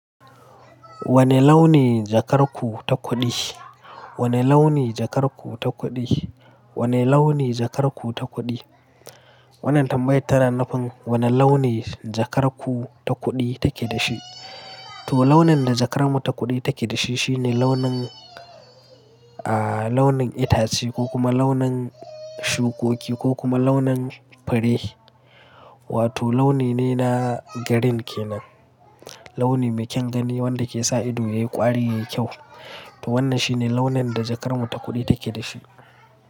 Wane launi jakar ku ta kuɗi? Wane launi jakar ku ta kuɗi? Wane launi jakar ku ta kuɗi? Wannan tambayar tana nufin wane launi jakar ku ta kuɗi take da shi. To launin da jakar mu ta kuɗi take da shi shine launin, aah launin itace ko kuma launin shukoki ko kuma launin fure. Wato launi ne na green ke nan. Launi mai kyan gani wanda ke sa ido yayi ƙwari yayi kyau. To wannan shi ne launin da jakar mu ta kuɗi take da shi.